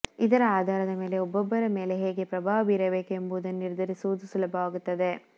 ಇದರ ಆಧಾರದ ಮೇಲೆ ಒಬ್ಬೊಬ್ಬರ ಮೇಲೆ ಹೇಗೆ ಪ್ರಭಾವ ಬೀರಬೇಕು ಎಂಬುದನ್ನು ನಿರ್ಧರಿಸುವುದೂ ಸುಲಭವಾಗುತ್ತದೆ